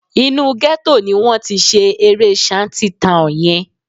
Inú gẹ́tò ni wọ́n ti ṣe eré Shanty Town yẹn